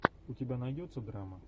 у тебя найдется драма